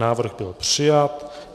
Návrh byl přijat.